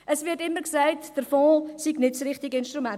Es wird immer gesagt, der Fonds sei nicht das richtige Instrument.